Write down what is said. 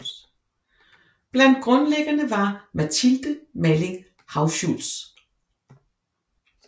Blandt grundlæggerne var Mathilde Malling Hauschultz